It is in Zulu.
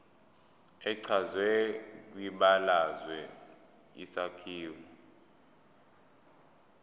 echazwe kwibalazwe isakhiwo